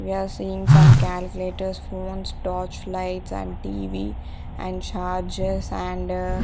we are seeing some calculators phones torch lights and T_V and chargers and --